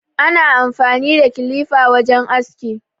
Ana amfani da kilifa wajen aski